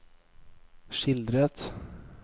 skildret